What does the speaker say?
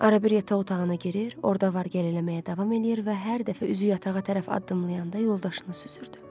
Ara bir yataq otağına girir, orada var gəl eləməyə davam eləyir və hər dəfə üzü yatağa tərəf addımlayanda yoldaşını süzürdü.